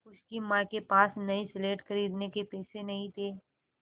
उसकी माँ के पास नई स्लेट खरीदने के पैसे नहीं थे